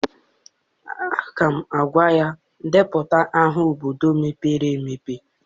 Aga m agwa ya, depụta aha obodo mepere emepe!